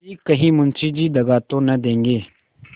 कि कहीं मुंशी जी दगा तो न देंगे